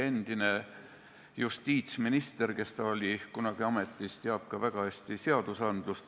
Endise justiitsministrina, kes ta kunagi oli, tunneb ta väga hästi ka seadusandlust.